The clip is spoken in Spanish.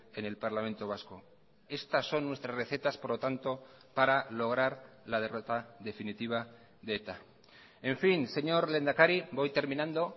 en el parlamento vasco estas son nuestras recetas por lo tanto para lograr la derrota definitiva de eta en fin señor lehendakari voy terminando